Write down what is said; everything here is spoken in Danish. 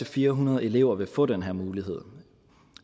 fire hundrede elever vil få den her mulighed